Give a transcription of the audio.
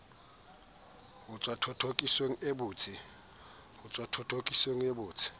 ho tswa thothokisong e botsi